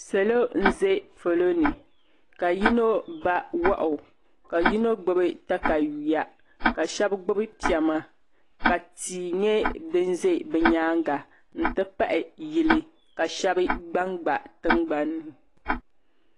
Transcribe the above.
Salo n zɛ polo ni ka yino ba wahu ka yino gbibi takayuya ka shɛba gbubi pɛma ka tii nyɛ dini zɛ bi yɛanga nti pahi yili ka shɛba gba n gba tiŋgbanni.